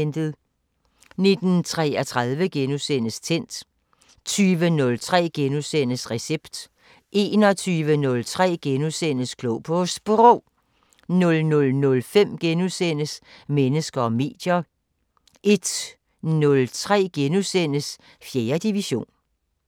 19:33: Tændt * 20:03: Recept * 21:03: Klog på Sprog * 00:05: Mennesker og medier * 01:03: 4. division *